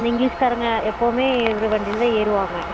அந்த english காரங்க எப்பயுமே இவர் வண்டிலதான் ஏறுவாங்க